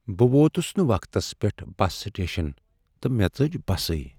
بہٕ ووتس نہٕ وقتس پٮ۪ٹھ بس سٹیشن تہٕ مےٚ ژٔج بسٕے۔